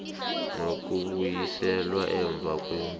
nokubuyiselwa emva kwemvumo